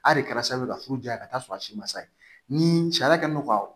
A de kɛra sababu ye ka furu diya ka taa sɔrɔ a si ma sa ye ni sariya kɛn don ka